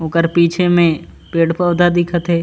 ओकर पीछे में पेड़-पौधा दिखा थे।